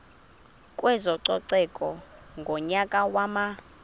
kwezococeko ngonyaka wama